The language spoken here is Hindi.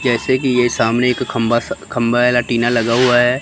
जैसे कि यह सामने एक खंभा सा खंभा वाला टीना लगा हुआ है।